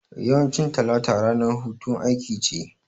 Yawancin talata ranar hutun aiki ce